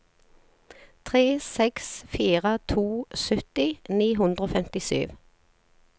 tre seks fire to sytti ni hundre og femtisju